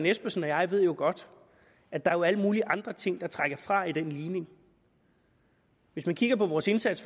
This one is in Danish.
espersen og jeg ved jo godt at der er alle mulige andre ting der trækker fra i den ligning hvis man kigger på vores indsats